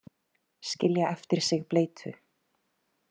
Skilja eftir sig bleytu.